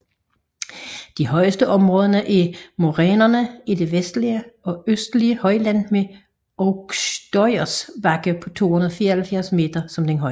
De højeste områder er morænerne i det vestlige og østlige højland med Aukštojas bakke på 294 m som den højeste